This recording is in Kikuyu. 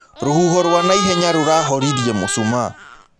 Rũhũho rwa naĩhenya rũrahorĩrĩe mũcũmaa